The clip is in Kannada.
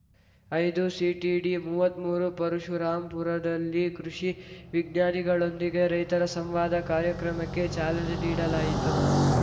ಐದುಸಿಟಿಡಿಮೂವತ್ಮೂರು ಪರಶುರಾಂಪುರದಲ್ಲಿ ಕೃಷಿ ವಿಜ್ಞಾನಿಗಳೊಂದಿಗೆ ರೈತರ ಸಂವಾದ ಕಾರ್ಯಕ್ರಮಕ್ಕೆ ಚಾಲನೆ ನೀಡಲಾಯಿತು